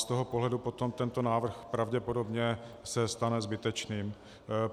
Z toho pohledu potom tento návrh pravděpodobně se stane zbytečným.